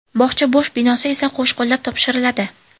Bog‘cha bo‘sh binosi esa qo‘shqo‘llab topshiriladi.